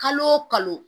Kalo o kalo